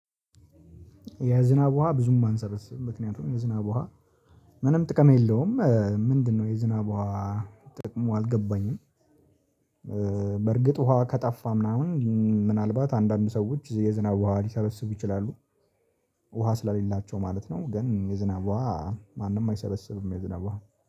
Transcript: የዝናብ ውሃ ብዙም አንሰብስብም፣ ምክንያቱም የዝናብ ውሃ ምንም ጥቅም የለውም። ምንድነው? የዝናብ ውሃ ጥቅሙ አልገባኝም፣ እ በርግጥ! ውሃ ከጠፋ ምናምን፣ እም ምናልባት አንዳንድ ሰዎች የዝናብ ውሃ ሊሰበስቡ ይችላሉ። ውሃ ስለሌላቸው ማለት ነው። ግን የዝናብ ውሃ ማንም አይሰበሰብም። የዝናብ ውሃ